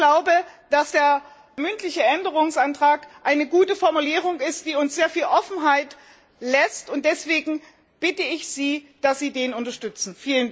Ich glaube, dass der mündliche Änderungsantrag eine gute Formulierung ist, die uns sehr viel Offenheit lässt, und deshalb bitte ich Sie, dass Sie den unterstützen.